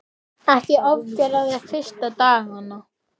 Ekki ofgera þér fyrstu dagana.